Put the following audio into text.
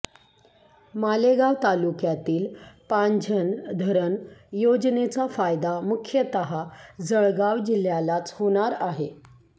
मालेगाव तालुक्यातील पांझण धरण योजनेचा फायदा मुख्यतः जळगाव जिल्ह्यालाच होणार आहे